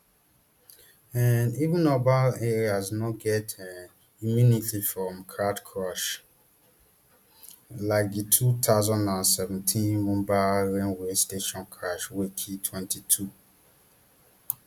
um even urban areas no get um immunity from crowd crush like di two thousand and seventeen mumbai railway station crush wey kill twenty-two